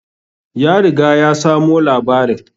Ya riga ya samo labarin